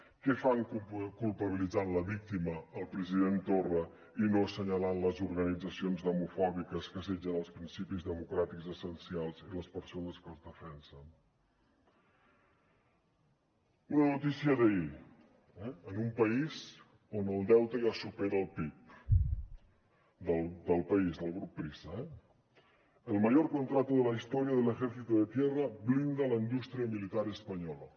què fan culpabilitzant la víctima el president torra i no assenyalant les organitzacions demofòbiques que assetgen els principis democràtics essencials i les persones que els defensen una notícia d’ahir en un país on el deute ja supera el pib del país del grup prisa eh el mayor contrato de la historia del ejército de tierra blinda la industria militar española